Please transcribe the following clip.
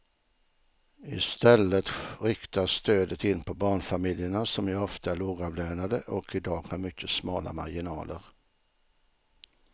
I stället riktas stödet in på barnfamiljerna som ju ofta är lågavlönade och i dag har mycket smala marginaler.